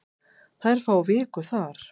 Þær fá viku þar.